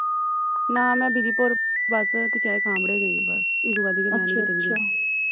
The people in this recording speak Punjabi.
ਨਾ ਮੈਂ ਬਿਧੀਪੁਰ ਬਸ ਗਈ ਬਸ ਇਹ ਤੋਂ ਵੱਧ ਕਿ ਮੈਂ ਨਹੀਂ ਕੀਤੇ ਵੀ ਗੀ